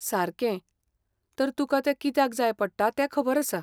सारकें, तर तुका तें कित्याक जाय पडटा ते खबर आसा.